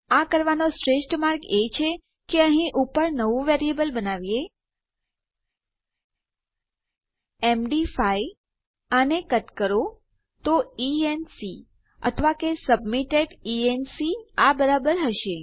આ કરવાનો શ્રેષ્ઠ માર્ગ એ છે કે અહીં ઉપર નવું વેરીએબલ બનાવીએ એમડી5 આને કટ કરો તો ઇએનસી અથવા કે સબમિટેડ ઇએનસી આ બરાબર હશે